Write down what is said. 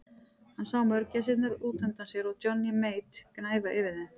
Hann sá mörgæsirnar út undan sér og Johnny Mate gnæfa yfir þeim.